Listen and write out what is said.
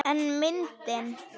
En myndin.